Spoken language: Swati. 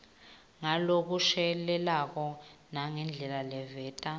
ngalokushelelako nangendlela leveta